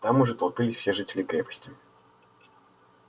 там уже толпились все жители крепости